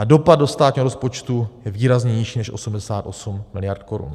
A dopad do státního rozpočtu je výrazně nižší než 88 miliard korun.